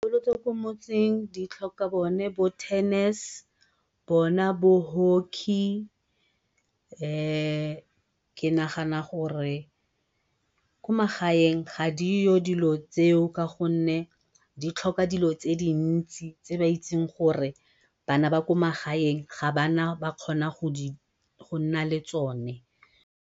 ko motseng di tlhoka bona bo-tennis, bona bo-hockey, ke nagana gore ko magaeng ga dio dilo tseo ka gonne di tlhoka dilo tse dintsi tse ba itseng gore bana ba kwa magaeng ga bana ba kgona go nna le tsone.